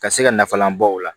Ka se ka nafalan bɔ o la